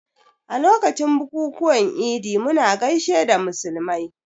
A lokacin bukukuwan Idi muna gaishe da musulmai